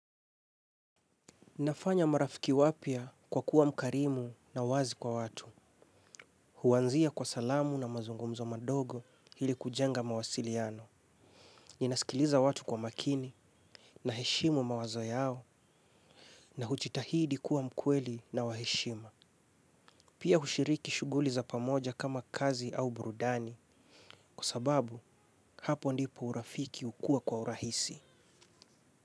Nafanya marafiki wapya kwa kuwa mkarimu na wazi kwa watu. Huanzia kwa salamu na mazungumzo madogo hili kujenga mawasiliano. Ninaskiliza watu kwa makini na heshimu mawazo yao na huchitahidi kuwa mkweli na waheshima. Pia hushiriki shuguli za pamoja kama kazi au burudani kwa sababu hapo ndipo urafiki hukuwa kwa urahisi.